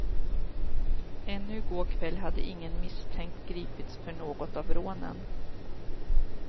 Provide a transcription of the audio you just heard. Ännu i går kväll hade ingen misstänkt gripits för något av rånen.